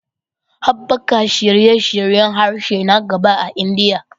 Haɓaka shirye-shiryen harshe na gaba a Indiya